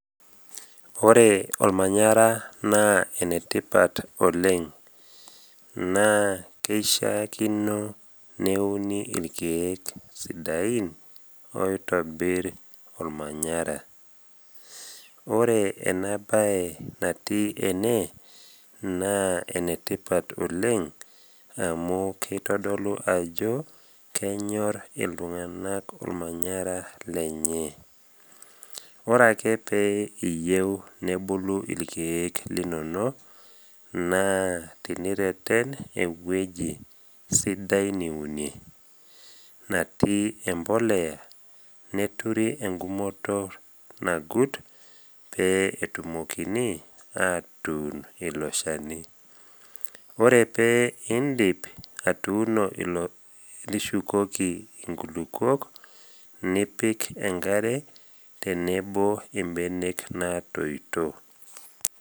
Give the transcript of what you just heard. Ore olmanyara naa enetipat oleng. Naa keishaakino neuni ilkeek sidain oitobir olmanyara. Ore ena bae natii ene naa enetipat oleng amu keitodolu ajo kenyor iltung’ana olmanyara lenye. Ore ake pee iyeu nebulu ilkeek linono, naa tenireten ewueji sidai niune, natii embolea neturi engumoto nagut pee etumokini atuun ilo shani. Ore pee indip atuuno, nishukoki inkilukuok, nipik enkare tenebo imbenek natoito.